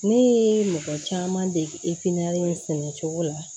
Ne ye mɔgɔ caman dege in sɛnɛcogo la